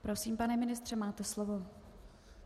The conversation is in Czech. Prosím, pane ministře, máte slovo.